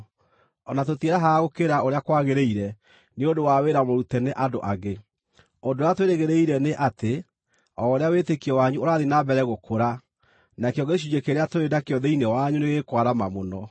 O na tũtiĩrahaga gũkĩra ũrĩa kwagĩrĩire nĩ ũndũ wa wĩra mũrute nĩ andũ angĩ. Ũndũ ũrĩa twĩrĩgĩrĩire nĩ atĩ, o ũrĩa wĩtĩkio wanyu ũrathiĩ na mbere gũkũra, nakĩo gĩcunjĩ kĩrĩa tũrĩ nakĩo thĩinĩ wanyu nĩgĩkwarama mũno,